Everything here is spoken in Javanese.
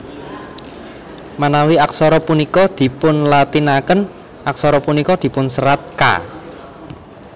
Manawi aksara punika dipunlatinaken aksara punika dipunserat Ka